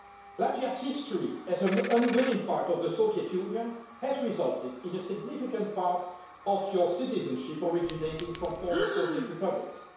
Latvia's history as an unwilling part of the Soviet Union has resulted in a significant part of your citizenship originating from former Soviet republics.